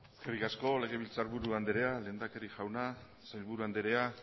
eskerrik asko legebiltzarburu andrea lehendakari jauna sailburu anderea